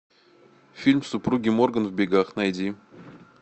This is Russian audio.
фильм супруги морган в бегах найди